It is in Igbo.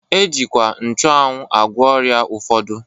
E jikwa nchuanwu agwọ ọrịa ụfọdụ.